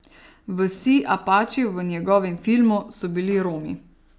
Vsi Apači v njegovem filmu so bili Romi.